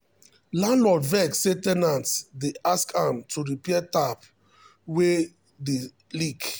landlord vex say ten ant dey ask am to repair tap wey dey leak.